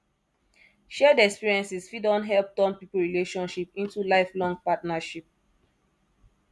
shared experiences fit don help turn pipo relationship into lifelong partnership